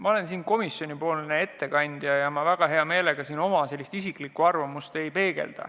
Ma olen siin komisjoni ettekandja ja ma väga hea meelega oma isiklikust arvamusest ei räägiks.